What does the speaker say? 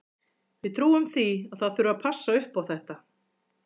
Við trúum því að það þurfi að passa upp á þetta.